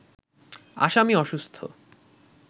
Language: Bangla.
আসামি অসুস্থ